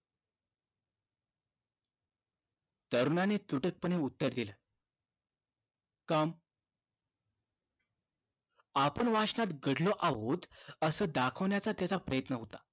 तरुणाने तुटकपणे उत्तर दिल काम आपण वाचनात गढलो आहोत असं दाखवण्याचा त्याचा प्रयत्न होता